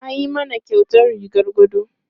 An yi mana kyautar rigar gado.